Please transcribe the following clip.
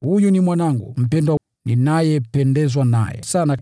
“Huyu ni Mwanangu mpendwa. Ninapendezwa naye sana.”